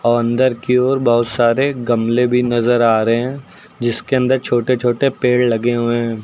और अंदर की ओर बहोत सारे गमले भी नजर आ रहे हैं जिसके अंदर छोटे छोटे पेड़ लगे हुए हैं।